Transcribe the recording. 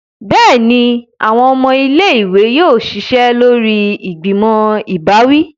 Béèni, awọn ọmọ ilé-ìwé yóò ṣiṣẹ lórí ìgbìmò ìbáwí